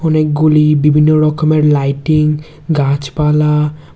অনেকগুলি বিভিন্ন রকমের লাইটিং গাছপালা--